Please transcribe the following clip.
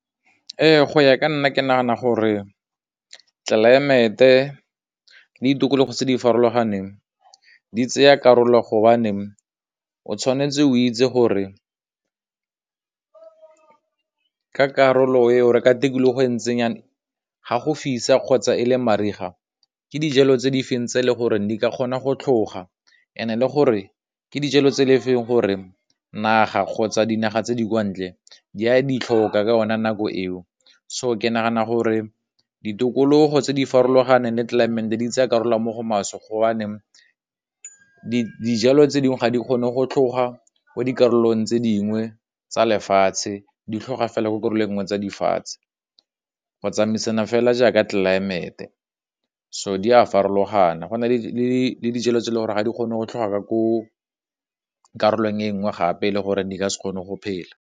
Ee, go ya ka nna ke nagana gore tlelaemete le ditokologo tse di farologaneng di tsaya karolo gobaneng, o tshwanetse o itse gore ka karolo eo re ka tikologo e ga go fisa kgotsa e le mariga, ke dijalo tse di feng tse le gore di ka kgona go tlhoga, ene le gore ke dijalo tse le fa gore naga kgotsa dinaga tse di kwa ntle di a ditlhokwa ka yone nako eo, so ke nagana gore ditokologo tse di farologaneng le tlelaemete di tsaya karolo mo go maswe gobaneng dijalo tse dingwe ga di kgone go tloga mo dikarolong tse dingwe tsa lefatshe di tlhoga fela ke karolo e nngwe tsa lefatshe go tsamaisana fela jaaka tlelaemete, so di a farologana, go na le dijalo tse le gore ga di kgone go tlhoga ka ko karolong e nngwe gape le gore di ka se kgone go phela.